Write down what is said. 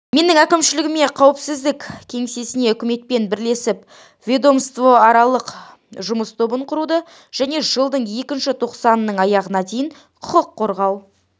менің әкімшілігіме қауіпсіздік кеңесіне үкіметпен бірлесіп ведомствоаралық жұмыс тобын құруды және жылдың екінші тоқсанының аяғына дейін құқық қорғау